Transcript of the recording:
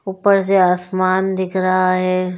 उप्पर से आसमान दिख रहा है।